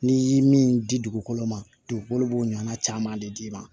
N'i ye min di dugukolo ma dugukolo b'o ɲɔgɔnna caman de d'i ma